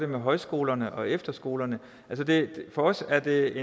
med højskolerne og efterskolerne for os er det